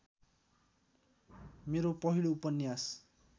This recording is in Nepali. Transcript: मेरो पहिलो उपन्यास